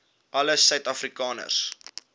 alle suid afrikaners